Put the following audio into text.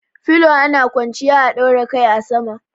Filo ana kwanciya a daura kai a sama.